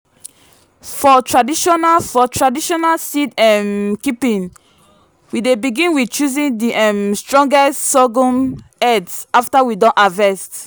for traditional for traditional seed um keeping we dey begin with choosing the um strongest sorghum heads after we don harvest.